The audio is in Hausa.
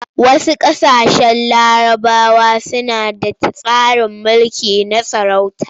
Wasu ƙasashen larabawa suna da tsarin mulki na sarauta.